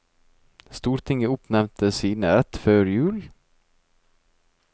Stortinget oppnevnte sine rett før jul.